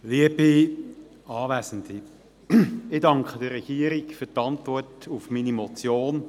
Ich danke der Regierung für die Antwort auf meine Motion.